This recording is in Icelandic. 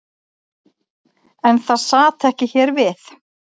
En það sat ekki hér við.